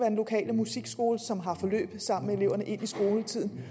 den lokale musikskole som har forløb sammen med eleverne ind i skoletiden